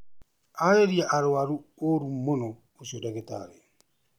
Ararĩria arwaru ũru mũno ũcio dagĩtarĩ